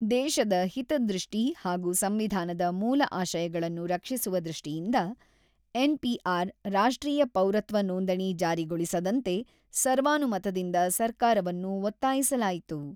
ದೇಶದ ಹಿತದೃಷ್ಟಿ ಹಾಗೂ ಸಂವಿಧಾನದ ಮೂಲ ಆಶಯಗಳನ್ನು ರಕ್ಷಿಸುವ ದೃಷ್ಟಿಯಿಂದ, ಎನ್.ಪಿ.ಆರ್.-ರಾಷ್ಟ್ರೀಯ ಪೌರತ್ವ ನೋಂದಣಿ ಜಾರಿಗೊಳಿಸದಂತೆ ಸರ್ವಾನುಮತದಿಂದ ಸರ್ಕಾರವನ್ನು ಒತ್ತಾಯಿಸಲಾಯಿತು.